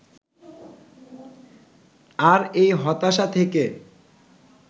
আর এই হতাশা থেকে